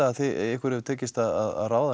að ykkur hafi tekist að ráða